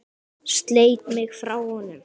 Sleit mig frá honum.